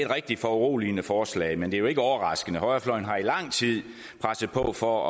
rigtig foruroligende forslag men det er jo ikke overraskende højrefløjen har i lang tid presset på for